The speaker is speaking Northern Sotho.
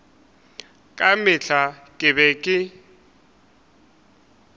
ka mehla ke be ke